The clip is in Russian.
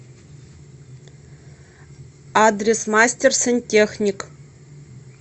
адрес мастер сантехник